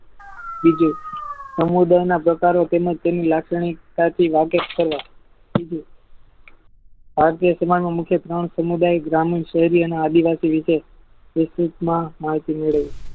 બીજુ સમુદાયના પ્રકારે તેમને તેની લાક્ષણિકતા થી વળાંક છલો ભારતીય સમાજમાં મુખ્ય ત્રણ સમુદાય ગ્રામીણ કોઈ અને આદિવાસી વિશે યુટુબમાં માહિતી મેળવો